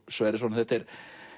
Sverrisson þetta er